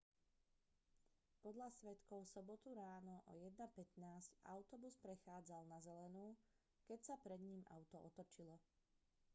podľa svedkov v sobotu ráno o 1:15 autobus prechádzal na zelenú keď sa pred ním auto otočilo